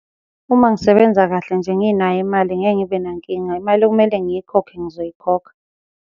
Uma ngisebenza kahle nje nginayo imali ngeke ngibe nankinga, imali ekumele ngiyikhokhe, ngizoyikhokha.